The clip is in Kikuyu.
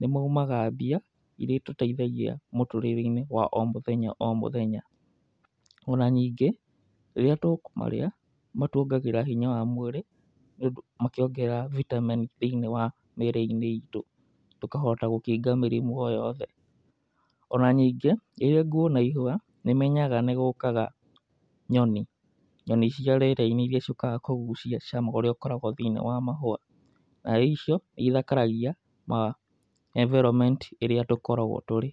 nĩmaumaga mbia iria itũteithagia mũtũrĩre-inĩ wa o mũthenya o mũthenya. Ona ningĩ rĩrĩa tũkũmarĩa matuongagĩrĩra hinya wa mwĩrĩ mangĩongerera bitameni thĩiniĩ wa mĩrĩ itũ, tũkahota gũkinga mĩrimũ o yothe. Ona ningĩ rĩrĩa nguona ihũa nĩmenyaga nĩgũkaga nyoni, nyoni cia rĩera-inĩ iria ciũkaga kũgucia cama ũrĩa ũkoragwo thĩiniĩ wa mahũa. Nyoni icio nĩithakaragia environment ĩrĩa tũkoragwo tũrĩ.